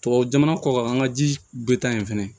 Tubabu jamana kɔ kan an ka ji be taa yen fɛnɛ